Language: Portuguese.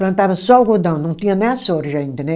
Plantava só algodão, não tinha nem a soja ainda, né?